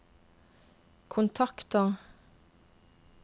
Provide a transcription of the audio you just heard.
kontakter